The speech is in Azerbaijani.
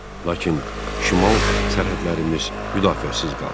Lakin şimal sərhədlərimiz müdafiəsiz qaldı.